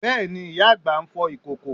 Bẹ́ẹ̀ni, ìyá àgbà ń fọ ìkòkò